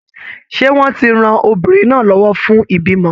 Ṣé wọ́n ti ran obìnrin náà lọ́wọ́ fún ìbímọ?